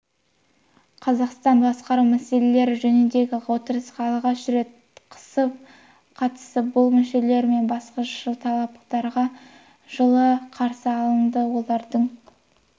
қазақстан басқару мәселелері жөніндегі отырысқа алғаш рет қысы қатысып бұл мүшелері мен басқыншыл талаптарға жылы қарсы алынды олардың